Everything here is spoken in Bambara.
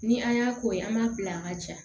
Ni an y'a k'o ye an b'a bila an ka ja